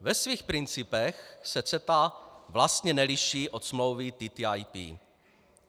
Ve svých principech se CETA vlastně neliší od smlouvy TTIP.